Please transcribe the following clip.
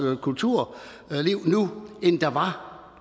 kulturliv nu end der var